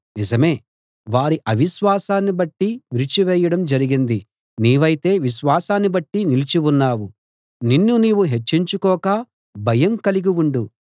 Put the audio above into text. నిజమే వారి అవిశ్వాసాన్ని బట్టి విరిచివేయడం జరిగింది నీవైతే విశ్వాసాన్ని బట్టి నిలిచి ఉన్నావు నిన్ను నీవు హెచ్చించుకోక భయం కలిగి ఉండు